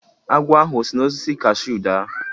Agwọ ahụ o si n'osisi kashuu daa?